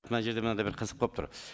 мына жерде мынадай бір қызық болып тұр